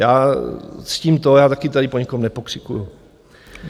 Já ctím to, já taky tady po nikom nepokřikuji.